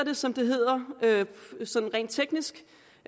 som det hedder rent teknisk